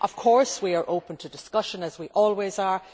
Of course, we are open to discussion, as we always are.